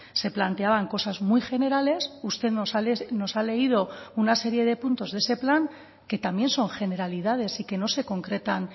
se planteaban cosas muy generales usted nos ha leído una serie de puntos de ese plan que también son generalidades y que no se concretan